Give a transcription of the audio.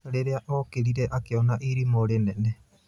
Rĩria okĩrire akĩona irimũ rĩnene.